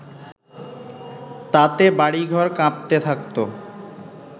তাতে বাড়িঘর কাঁপতে থাকতো